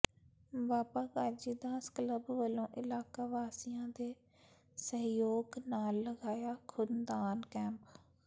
ਬਾਬਾ Gajidas club ਵਲੋਂ ਇਲਾਕਾ ਵਾਸੀਆਂ ਦੇ ਸਹਿਯੋਗ ਨਾਲ ਲਗਾਇਆ ਖ਼ੂਨਦਾਨ ਕੈਂਪ